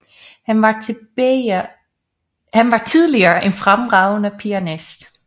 Han var tillige en fremragende pianist